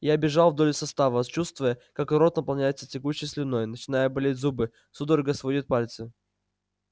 я бежал вдоль состава чувствуя как рот наполняется тягучей слюной начинают болеть зубы судорогой сводит пальцы